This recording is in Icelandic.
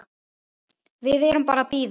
Við erum bara að bíða.